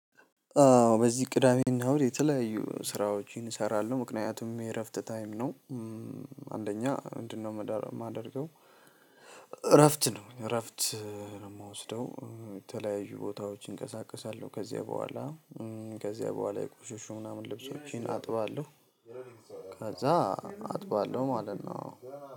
በዚህ ቅዳሜና እሁድ የተለያዩ ስራዎችን እሰራለሁ ምክንያቱም የእረፍት ታይም ነው አንደኛ ምንድነው ማደርገው እረፍት ነው ረፍት ነው የምወስደው የተለያዩ ቦታዎች እንቀሳቀሳለሁ ከዛ በኋላ ከዚያ በኋላ የቆሸሹ ምናምን ልብሶቼን አጥባለሁ ከዛ አጥባለሁ ማለት ነው።